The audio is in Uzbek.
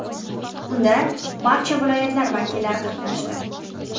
Unda barcha viloyatlar vakillari qatnashdi.